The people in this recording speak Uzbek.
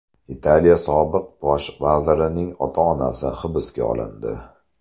Italiya sobiq bosh vazirining ota-onasi hibsga olindi.